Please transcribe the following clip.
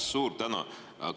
Suur tänu!